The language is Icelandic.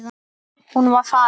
Hún var farin.